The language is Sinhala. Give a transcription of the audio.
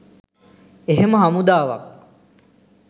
එහෙම හමුදාවක්